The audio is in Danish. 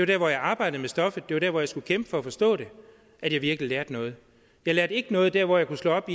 der hvor jeg arbejdede med stoffet det var der hvor jeg skulle kæmpe for at forstå det at jeg virkelig lærte noget jeg lærte ikke noget der hvor jeg kunne slå op